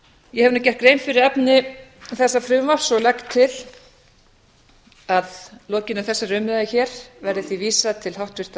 ég hef nú gert grein fyrir efni þessa frumvarps og legg til að að lokinni þessari umræðu hér verði því vísað til háttvirtrar